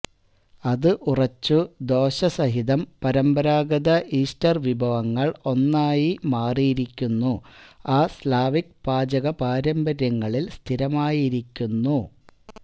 അത് ഉറച്ചു ദോശ സഹിതം പരമ്പരാഗത ഈസ്റ്റർ വിഭവങ്ങൾ ഒന്നായി മാറിയിരിക്കുന്നു ആ സ്ലാവിക് പാചക പാരമ്പര്യങ്ങളിൽ സ്ഥിരമായിരിക്കുന്നു